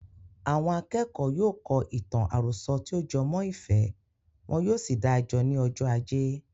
Àwọn akẹ́kọ̀ọ́ yóò kọ ìtàn àròsọ tí o jẹ mọ́ ìfẹ́, wọn yóò sì dáa jọ ní ọjọ́ ajé.